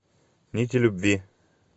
нити любви